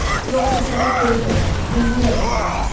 Yoxsa sənə göz dəyər, neyləyərik onda biz?